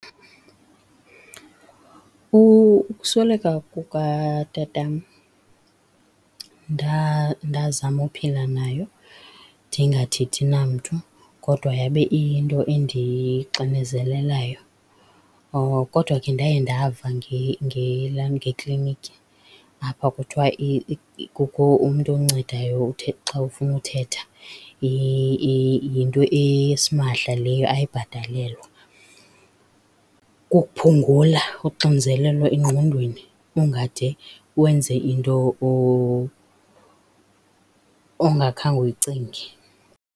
Ukusweleka kukatatam ndazama uphila nayo ndingathethi namntu kodwa yabe iyinto endixinezelelayo. Kodwa ke ndaye ndava ngekliniki apha kuthiwa kukho umntu oncedayo othe xa ufuna uthetha, yinto esimahla leyo ayibhatalelwa. Kukuphungula uxinzelelo engqondweni ungade wenze into ongakhange uyicinge.